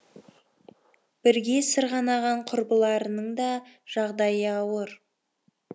бірге сырғанаған құрбыларының да жағдайы ауыр